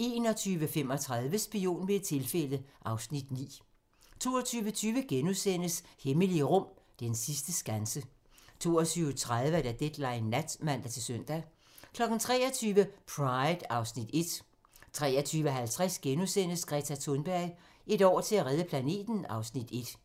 21:35: Spion ved et tilfælde (Afs. 9) 22:20: Hemmelige rum: Den sidste skanse * 22:30: Deadline nat (man-søn) 23:00: Pride (Afs. 1) 23:50: Greta Thunberg: Et år til at redde planeten (Afs. 1)*